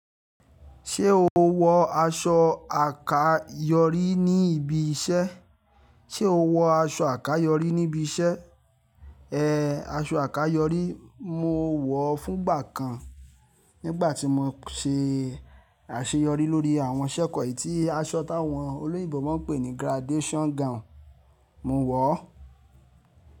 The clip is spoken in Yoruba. Ṣé o wọ aṣọ àkáyọrí ní ibi iṣẹ́? Ṣé o wọ aṣọ àkáyọrí ní ibi iṣẹ́? Ee, aṣọ àkáyọrí mo wọ̀ ọ fún gbà kan nígbà tí mo ṣe àṣeyọrí lórí àwọn iṣẹ́ kan eyìí tí aṣọ táwọn olóyìnbò máa ń pè ní graduation gown, mo wọ̀ ọ́.